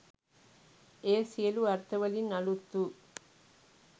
එය සියලු අර්ථවලින් අලුත් වූ